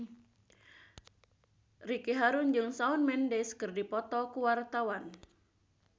Ricky Harun jeung Shawn Mendes keur dipoto ku wartawan